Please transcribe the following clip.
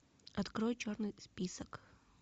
открой черный список